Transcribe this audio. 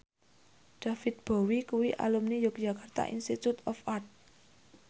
David Bowie kuwi alumni Yogyakarta Institute of Art